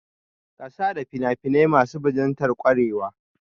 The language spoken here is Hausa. Kasada fina-finai ne masu bajintar kwarewa